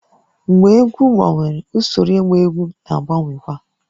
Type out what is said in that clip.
Mgbe egwu gbanwere, usoro ịgba egwu na-agbanwekwa